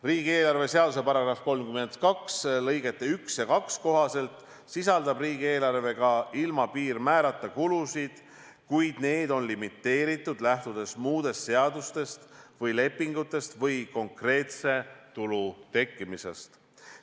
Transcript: Riigieelarve seaduse § 32 lõigete 1 ja 2 kohaselt sisaldab riigieelarve ka ilma piirmäärata kulusid, kuid need on limiteeritud, lähtudes muudest seadustest või lepingutest või konkreetse tulu tekkimisest.